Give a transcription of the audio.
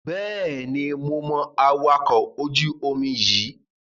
Bẹ́ẹ̀ni, mo mọ awakọ̀ ojú-omi yíì